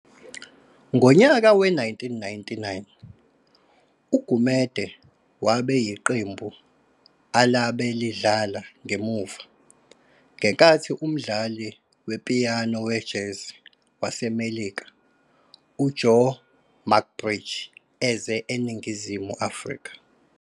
Ngonyaka we-1999 uGumede wabe yiqembu alabe lidlala ngemuva, ngenkathi umdlali wepiyano wejazz waseMelika uJoe McBride eze eNingizimu Afrika.